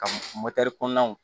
Ka kɔnɔnaw